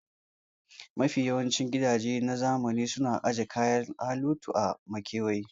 Mafi yawancin gidaje na zamani suna aje kayan alatu a makewaya